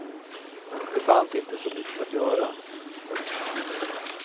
Det fanns inte så mycket att göra. punkt